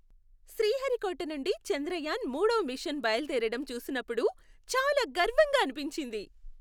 శ్రీహరికోట నుండి చంద్రయాన్ మూడవ మిషన్ బయలుదేరడం చూసినప్పుడు చాలా గర్వంగా అనిపించింది.